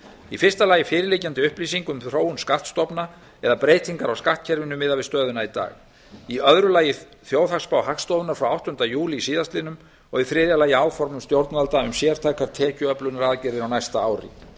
í fyrsta lagi fyrirliggjandi upplýsingum um þróun skattstofna eða breytingar á skattkerfinu miðað við stöðuna í dag í öðru lagi þjóðhagsspá hagstofunnar frá áttunda júlí síðastliðinn og í þriðja lagi áformum stjórnvalda um sértækar tekjuöflunaraðgerðir á næsta ári